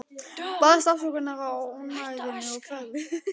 Baðst afsökunar á ónæðinu og færði mig.